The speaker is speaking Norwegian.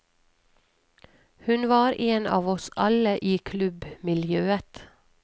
Hun var en av oss alle i klubbmiljøet.